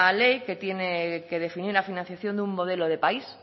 ley que tiene que definir la financiación de un modelo de país